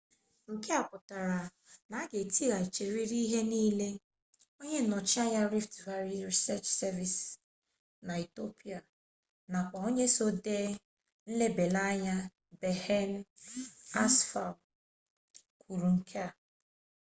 nke a pụtara na a ga-etighachirịrị ihe niile onye nyocha na rift valley research service na ethiopia nakwa onye so dee nlebaanya a berhane asfaw kwuru nke a